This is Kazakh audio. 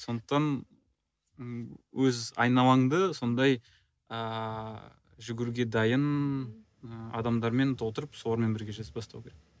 сондықтан ы өз айналаңды сондай ааа жүгіруге дайын ы адамдармен толтырып солармен бірге жасап бастау керек